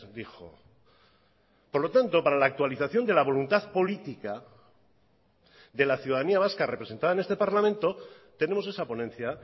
dijo por lo tanto para la actualización de la voluntad política de la ciudadanía vasca representada en este parlamento tenemos esa ponencia